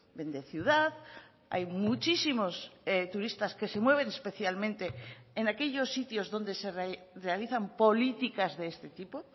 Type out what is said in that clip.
vende ciudad hay muchísimos turistas que se mueven especialmente en aquellos sitios donde se realizan políticas de este tipo